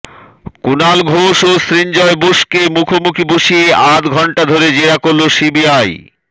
কুণাল ঘোষ ও সৃঞ্জয় বোসকে মুখোমুখি বসিয়ে আধ ঘণ্টা ধরে জেরা করল সিবিআই